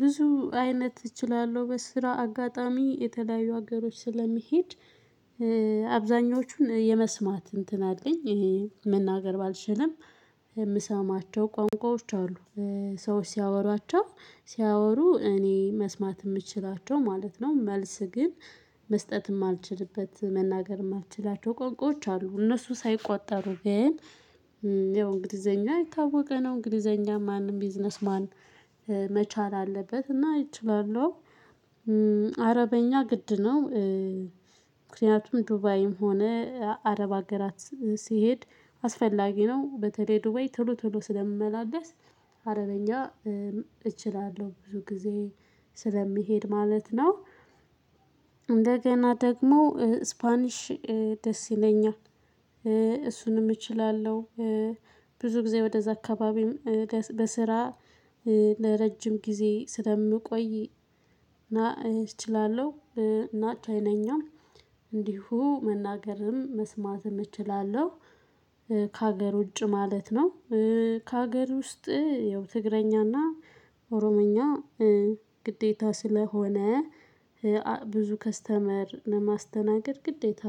ብዙ አይነት እችላለሁ። በስራ አጋጣሚ የተለያዩ ሀገሮች ስለምሄድ አብዛኞቹን የመስማት እንትን አለኝ ይሄ መናገር ባልችልም የምሰማቸው ቋንቋዎች አሉ። ሰዎች ሲያወሯቸው ሲያወሩ እኔ መስማት የምችላቸው ማለት ነው መልስ ግን መስጠትም አልችልበት መናገርም አልችላቸው ቆንቆች አሉ እነሱ ሳይቆጠሩ ግን ያው እንግሊዘኛ የታወቀ ነው እንግሊዘኛ ማንም ቢዝነስ ማን መቻል አለበት እና እችላለሁ። አረበኛ ግድ ነው። ምክንያቱም ዱባይም ሆነ አረብ አገራት ሲሄድ አስፈላጊ ነው በተለይ ዱባይ ቶሎ ቶሎ ስለምመላለስ አረበኛ እችላለሁ ብዙ ጊዜ ስለሚሄድ ማለት ነው። እንደገና ደግሞ ስፓኒሽ ደስ ይለኛል እሱንም እችላለሁ። ብዙ ጊዜ ወደዛ አካባቢም በስራ ለረጅም ጊዜ ስለምቆይ እችላለሁ እና ቻይንኛም እንዲሁ መናገርም መስማትም እችላለሁ ከሀገር ውጭ ማለት ነው። ከሀገር ውስጥ ያው ትግረኛና ኦሮምኛ ግዴታ ስለሆነ ብዙ ከስተመር ለማስተናገድ ግዴታ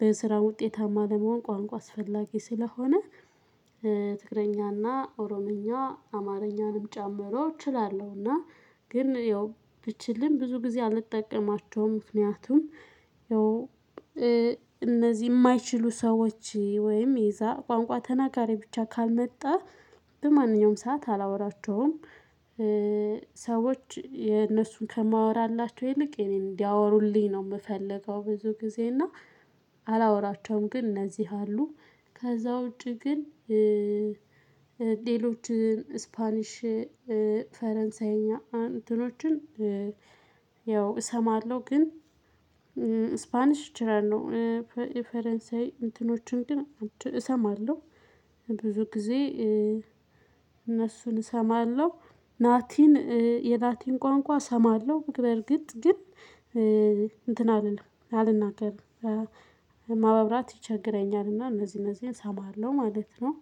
በስራ ውጤታማ ለመሆን ቋንቋ አስፈላጊ ስለሆነ ትግረኛና ኦሮምኛ አማርኛንም ጨምሮ እችላለሁ እና ግን ይኸው ብችልም ብዙ ጊዜ አልጠቀማቸውም። ምክንያቱም እነዚህ የማይችሉ ሰዎች ወይም የዛ ቋንቋ ተናጋሪ ብቻ ካልመጣ በማንኛውም ሰዓት አላወራቸውም። ሰዎች የነሱን ከማወራላቸው ይልቅ የኔን እንዲያወሩልኝ ነው የምፈልገው ብዙ ጊዜ እና አላወራቸውም ግን እነዚህ አሉ። ከዛ ውጪ ግን ሌሎች ስፓኒሽ ፥ፈረንሳይኛ እንትኖችን ያው እሰማለሁ ግን ስፓኒሽ እችላለው የፈረንሳይ እንትኖችን ግን እሰማለሁ ብዙ ጊዜ እነሱን እሰማለሁ ላቲን የላቲን ቋንቋ እሰማለሁ በርግጥ ግን እንትን አልልም አልናገርም። ማውራት ይቸግረኛልና እነዚህ እነዚህን እሰማለሁ ማለት ነው።